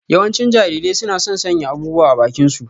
Yawancin Jarirai suna son sanya abubuwa a bakinsu.